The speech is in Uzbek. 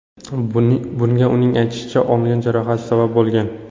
Bunga uning aytishicha, olgan jarohati sabab bo‘lgan.